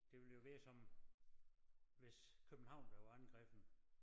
Det ville jo være som hvis København blev angrebet